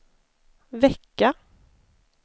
vecka